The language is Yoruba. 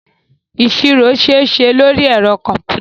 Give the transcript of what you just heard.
Ìṣirò ṣeéṣe lóri ẹ̀rọ kọ̀m̀pútà.